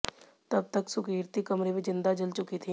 तब तक सुकीर्ति कमरे में जिंदा जल चुकी थीं